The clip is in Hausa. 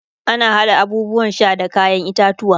ana haɗa abubuwan Sha da kayan itatauwa